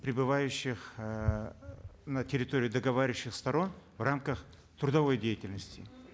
пребывающих э на территории договоривающихся сторон в рамках трудовой деятельности